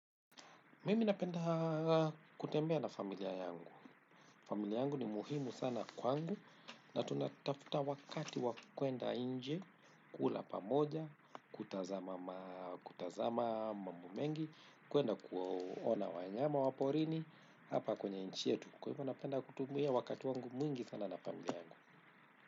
Mimi napenda kutembea na familia yangu. Familia yangu ni muhimu sana kwangu na tunatafuta wakati wa kwenda nje, kula pamoja, kutazama mambo mengi, kwenda kuona wanyama wa porini, hapa kwenye nchi yetu. Kwa hivyo napenda kutumia wakati wangu mwingi sana na familia yangu.